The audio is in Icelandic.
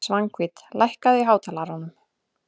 Svanhvít, lækkaðu í hátalaranum.